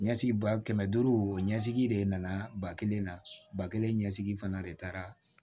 Ɲɛsigi ba kɛmɛ duuru ɲɛsigi de nana ba kelen na ba kelen ɲɛsigi fana de taara